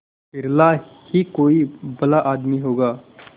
बिरला ही कोई भला आदमी होगा